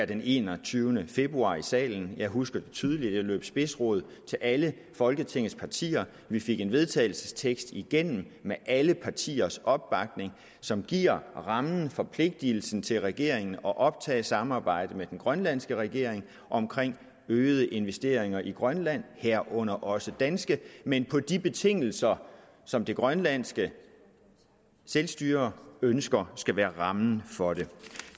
den enogtyvende februar i salen jeg husker det tydeligt jeg løb spidsrod til alle folketingets partier vi fik en vedtagelsestekst igennem med alle partiers opbakning som giver rammen forpligtelsen til regeringen at optage samarbejdet med den grønlandske regering om øgede investeringer i grønland herunder også danske men på de betingelser som det grønlandske selvstyre ønsker skal være rammen for det